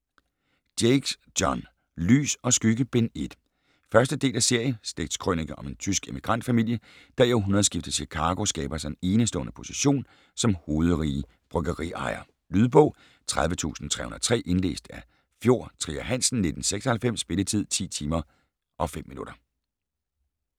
Jakes, John: Lys & skygge: Bind 1 1. del af serie. Slægtskrønike om en tysk emigrantfamilie, der i århundredskiftets Chicago skaber sig en enestående position som hovedrige bryggeriejere. Lydbog 30303 Indlæst af Fjord Trier Hansen, 1996 Spilletid: 10 timer, 5 minutter.